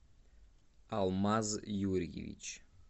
алмаз юрьевич